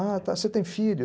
Ah, tá, você tem filho?